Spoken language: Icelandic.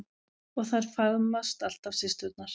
Og þær faðmast alltaf systurnar.